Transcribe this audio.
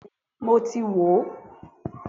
Bẹ́ẹ̀ni mo ti wo